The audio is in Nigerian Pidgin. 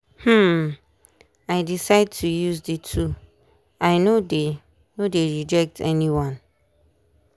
dem alright with spritual um things and to take english medicine too.